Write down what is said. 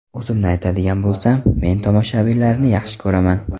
O‘zimni aytadigan bo‘lsam, men tomoshabinlarni yaxshi ko‘raman.